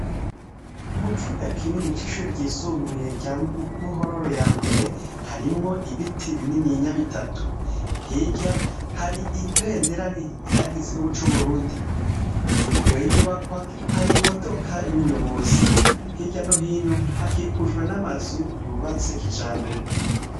Mu kibuga kinini c'ishure ryisumubuye rya Ruhororo ya mbere harimwo ibiti bininya bitatu hirya hari ibendera rihayagiza igihugu c'Uburundi imbere y'inyubakwa hari imodoka y'umuyoboyi hirya no hino hakikujwe n'amazu yubatse kijambere.